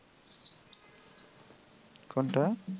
কোনটা?